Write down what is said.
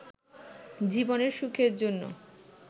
জীবনের সুখের জন্য